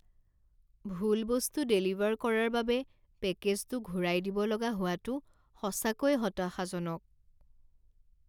ভুল বস্তু ডেলিভাৰ কৰাৰ বাবে পেকেজটো ঘূৰাই দিব লগা হোৱাটো সঁচাকৈয়ে হতাশাজনক।